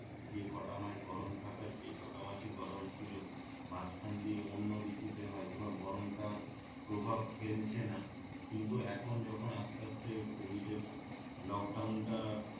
যে কটা মাস গরম থাকার সে কটা মাসই গরম ছিলো মাঝখান দিয়ে অন্য ঋতুতে হয়তোবা গরম টা প্রভাব ফেলছে না কিন্তু এখন যখন আস্তে আস্তে কোভিডের লকডাউন টা